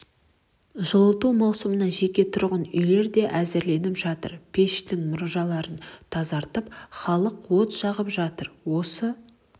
жылыту маусымына жеке тұрғын үйлер де әзірленіп жатыр пештің мұржаларын тазартып халық от жағып жатыр осы